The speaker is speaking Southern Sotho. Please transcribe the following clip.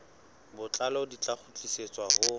botlalo di tla kgutlisetswa ho